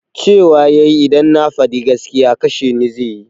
Cewa yayi idan na faɗi gaskiya kasheni zai yi